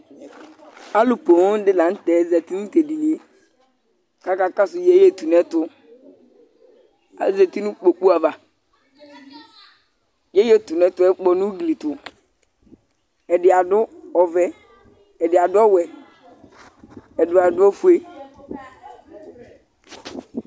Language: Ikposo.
Alʋ poo dɩ la nʋ tɛ zati nʋ tʋ edini yɛ kʋ akakɔsʋ yeyetʋnʋɛtʋ Azati nʋ kpoku ava Yeyetʋnʋɛtʋ yɛ kpɔ nʋ ugli tʋ Ɛdɩ adʋ ɔvɛ, ɛdɩ adʋ ɔwɛ, ɛdɩ adʋ ofue